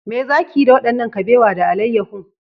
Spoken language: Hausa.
Me za ki yi da wannan kabewa da alayyahu?